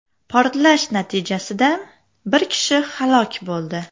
Portlash natijasida bir kishi halok bo‘ldi.